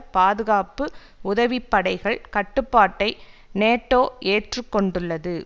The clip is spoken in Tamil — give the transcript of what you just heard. பாதுகாப்பு உதவி படைகள் கட்டுப்பாட்டை நேட்டோ ஏற்றுக்கொண்டுள்ளது